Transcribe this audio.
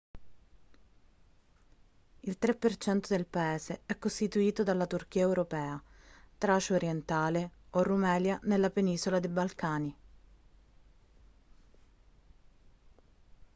il 3% del paese è costituito dalla turchia europea tracia orientale o rumelia nella penisola dei balcani